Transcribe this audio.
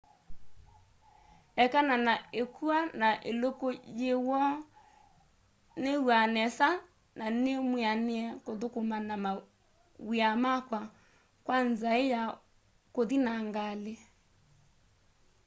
ekana na ikua na iluku yi woo niiw'a nesa na nimwianie kuthukuma mawia makwa kwa nzai ya kuthi na ngali